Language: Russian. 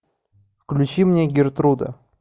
включи мне гертруда